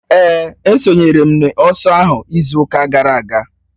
Èè, esonyere m n'ọsọ ahụ izu ụka gara aga